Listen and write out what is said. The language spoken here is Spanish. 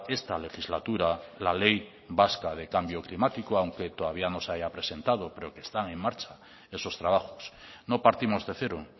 esta legislatura la ley vasca de cambio climático aunque todavía no se haya presentado pero que están en marcha esos trabajos no partimos de cero